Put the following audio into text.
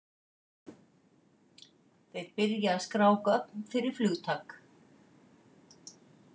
Þeir byrja að skrá gögn fyrir flugtak.